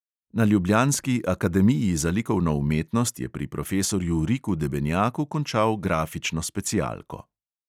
Na ljubljanski akademiji za likovno umetnost je pri profesorju riku debenjaku končal grafično specialko.